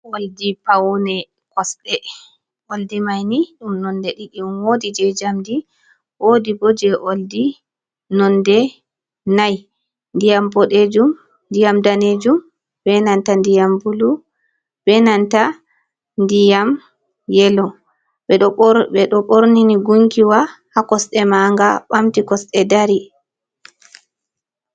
Oldi paune kosɗe. Oldi mai ni ɗum nonde ɗiɗi on, woodi je njamdi, woodi bo je oldi nonde nai, ndiyam boɗejum ndiyam daneejum be nanta ndiyam bulu, be nanta ndiyam yelo. Ɓe ɗo ɓorni ni gunkiwa haa kosɗe manga ɓamti kosɗe dari.